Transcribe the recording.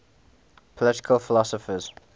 political philosophers